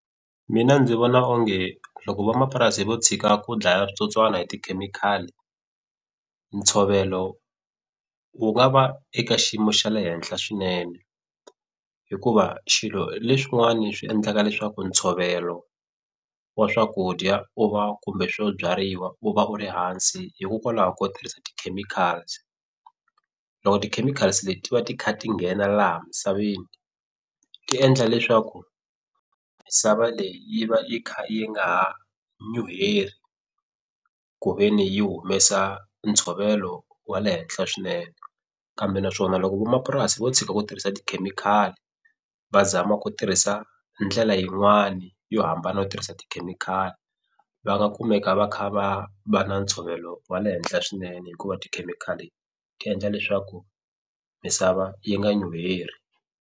Mina ndzi vona onge loko vamapurasi vo tshika ku dlaya switsotswani hi tikhemikhali ntshovelo wu nga va eka xiyimo xa le henhla swinene hikuva xilo leswiwani swi endlaka leswaku ntshovelo wa swakudya u va kumbe swo byariwa u va u ri hansi hikokwalaho ko tirhisa ti-chemicals loko ti-chemicals leti ti va ti kha ti nghena laha misaveni ti endla leswaku misava leyi yi va yi kha yi nga ha nyuheli ku ve ni yi humesa ntshovelo wa le henhla swinene kambe naswona loko vamapurasi vo tshika ku tirhisa tikhemikhali va zama ku tirhisa ndlela yin'wani yo hambana yo tirhisa tikhemikhali va nga kumeka va kha va va na ntshovelo wa le henhla swinene hikuva tikhemikhali ti endla leswaku misava yi nga nyuheri.